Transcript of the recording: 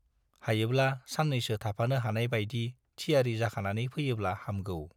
हायोब्ला सान्नैसो थाफानो हानाय बाइदि थियारि जाखानानै फैयोब्ला हामगौ।